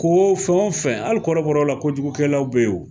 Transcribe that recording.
Ko fɛn o fɛn ali kɔrɔbɔrɔ la kojugu kɛlaw be yen o